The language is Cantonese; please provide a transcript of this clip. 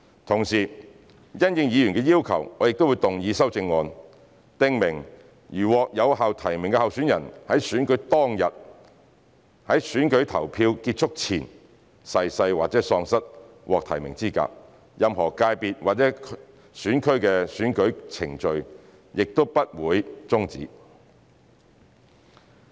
同時，因應議員的要求，我亦將動議修正案，訂明如獲有效提名的候選人在選舉當日，在選舉投票結束前逝世或喪失獲提名的資格，任何界別或選區的選舉程序均不會終止。